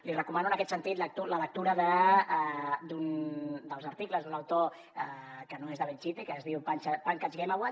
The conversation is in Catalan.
li recomano en aquest sentit la lectura dels articles d’un autor que no és de belchite que es diu pankaj ghemawat